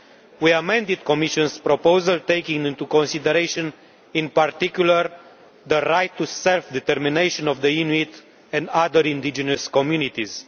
We amended the Commission's proposal, taking into consideration in particular the right to self determination of the Inuit and other indigenous communities.